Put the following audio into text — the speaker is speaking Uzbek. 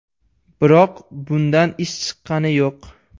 Biroq bundan ish chiqqani yo‘q.